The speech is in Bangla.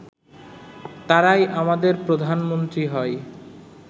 তারাই আমাদের প্রধানমন্ত্রী হয়